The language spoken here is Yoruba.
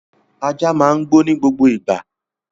Ajá máa ń gbó ní gbogbo ìgbà